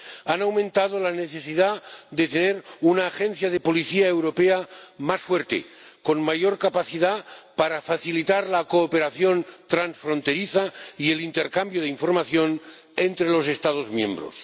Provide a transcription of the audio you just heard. han aumentado la necesidad de tener una agencia de policía europea más fuerte, con mayor capacidad para facilitar la cooperación transfronteriza y el intercambio de información entre los Estados miembros.